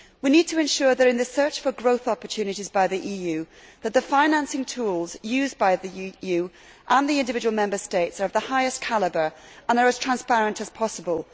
We need to ensure that, in the search for growth opportunities by the EU, the financing tools used by the EU and the individual Member States are of the highest calibre and as transparent as possible.